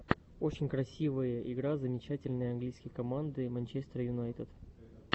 очень красивые игра замечательный английской команды манчестер юнайтед